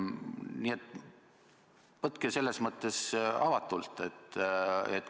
Nii et võtke selles mõttes avatult.